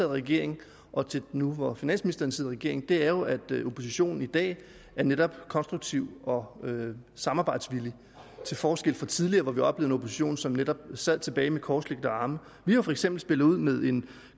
i regering og til nu hvor finansministeren sidder i regering er jo at oppositionen i dag netop er konstruktiv og samarbejdsvillig til forskel fra tidligere hvor vi opposition som netop sad tilbage med korslagte arme vi har for eksempel spillet ud med en